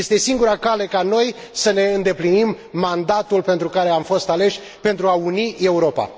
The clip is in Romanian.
Este singura cale ca noi să ne îndeplinim mandatul pentru care am fost aleși pentru a uni Europa.